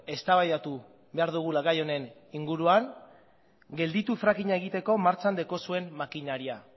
eztabaidatu behar dugula gai honen inguruan gelditu frackinga egiteko martxan daukazuen makinaria